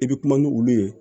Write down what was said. I bɛ kuma ni olu ye